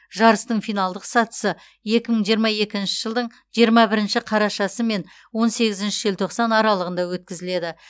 жарыстың финалдық сатысы екі мың жиырма екінші жылдың жиырма бірінші қарашасы мен он сегізінші желтоқсан аралығында өткізіледі